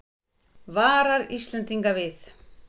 Varar Íslendinga við